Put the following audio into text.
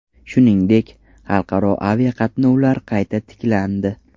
Shuningdek, xalqaro aviqatnovlar qayta tiklandi .